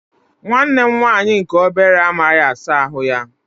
Nwanne m nwaanyị nke obere amaghị asa ahụ ya.